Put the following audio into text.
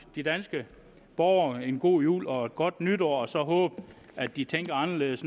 de danske borgere en god jul og et godt nytår og så håbe at de tænker anderledes